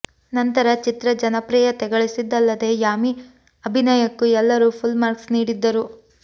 ನಂತರ ಚಿತ್ರ ಜನಪ್ರಿಯತೆ ಗಳಿಸಿದ್ದಲ್ಲದೆ ಯಾಮಿ ಅಭಿನಯಕ್ಕೂ ಎಲ್ಲರೂ ಫುಲ್ ಮಾರ್ಕ್ಸ್ ನೀಡಿದ್ದರು